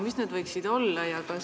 Mis need võiksid olla?